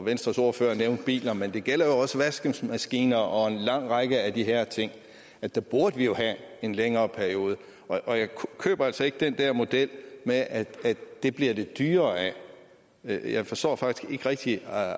venstres ordfører nævnte biler men det gælder jo også vaskemaskiner og en lang række af de her ting der burde vi jo have en længere periode jeg køber altså ikke den der model med at det bliver det dyrere af jeg forstår faktisk ikke rigtig